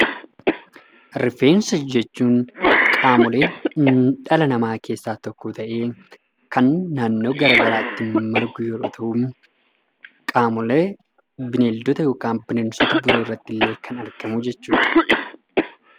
Rifeensa jechuun qaamoleen dhala namaa keessaa tokko ta'ee kan naannoo garagaraatti margu yeroo ta'u qaamolee bineeldota yookiin bineensota biroo irrattillee kan argamu jechuudha.